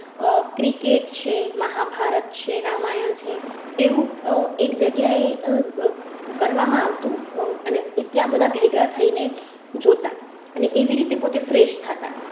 આહ cricket છે, મહાભારત છે. રામાયણ છે એવું એક જગ્યા એ આહ કરવામાં આવતું અને ત્યાં બધા ભેગા થઈ ને જોતા અને એવી રીતે પોતે fresh થતાં